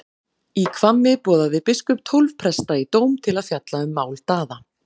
Í Hvammi boðaði biskup tólf presta í dóm til að fjalla um mál Daða.